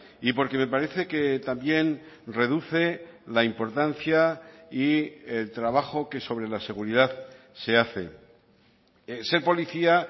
y porque me parece que también reduce la importancia y el trabajo que sobre la seguridad se hace ser policía